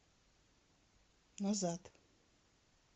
назад